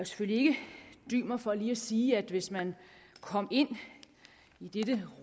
selvfølgelig ikke dy mig for lige at sige at hvis man kom ind i dette